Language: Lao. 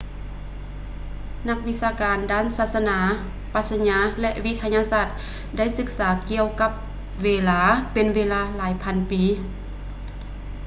ນັກວິຊາການດ້ານສາສະໜາ ປັດຊະຍາ ແລະ ວິທະຍາສາດ ໄດ້ສຶກສາກ່ຽວກັບເວລາ ເປັນເວລາຫຼາຍພັນປີ